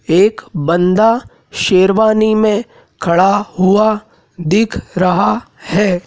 एक बंदा शेरवानी में खड़ा हुआ दिख रहा है।